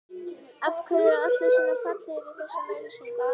Af hverju eru allir svona fallegir í þessum auglýsingum?